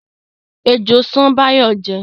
Ejò ṣán Báyọ̀ jẹ́